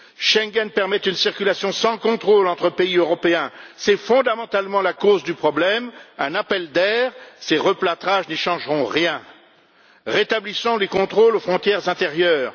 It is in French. Schengen permet une circulation sans contrôle entre pays européens c'est fondamentalement la cause du problème un appel d'air, et ces replâtrages n'y changeront rien. Rétablissons les contrôles aux frontières intérieures